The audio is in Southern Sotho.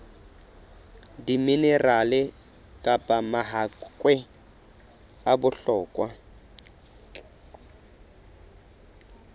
diminerale kapa mahakwe a bohlokwa